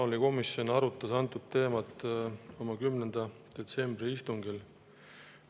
Maaelukomisjon arutas antud teemat oma 10. detsembri istungil.